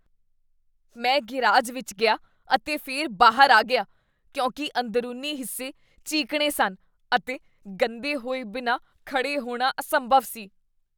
ਮੈਂ ਗ਼ੈਰਾਜ ਵਿੱਚ ਗਿਆ ਅਤੇ ਫਿਰ ਬਾਹਰ ਆ ਗਿਆ ਕਿਉਂਕਿ ਅੰਦਰੂਨੀ ਹਿੱਸੇ ਚੀਕਣੇ ਸਨ ਅਤੇ ਗੰਦੇ ਹੋਏ ਬਿਨਾਂ ਖੜ੍ਹੇ ਹੋਣਾ ਅਸੰਭਵ ਸੀ।